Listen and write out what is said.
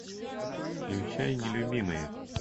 включай нелюбимые